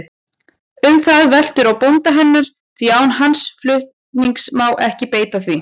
Um það veltur á bónda hennar, því án hans fulltingis má ekki beita því.